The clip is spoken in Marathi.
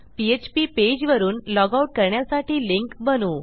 पीएचपी पेज वरुन लॉग आउट करण्यासाठी लिंक बनवू